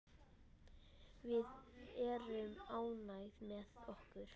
Við erum ánægð með okkar.